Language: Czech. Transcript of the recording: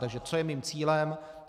Takže co je mým cílem?